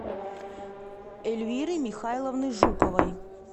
эльвиры михайловны жуковой